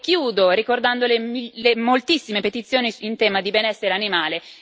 Chiudo ricordando le moltissime petizioni in tema di benessere animale.